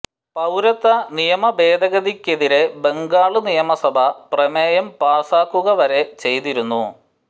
പൌരത്വ നിയമ ഭേദഗതിക്കെതിരെ ബംഗാള് നിയമസഭ പ്രമേയം പാസാക്കുക വരെ ചെയ്തിരുന്നു